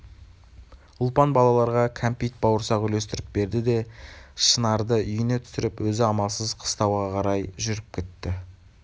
ұлпан балаларға кәмпит бауырсақ үлестіріп берді де шынарды үйіне түсіріп өзі амалсыз қыстауға қарап жүріп кетті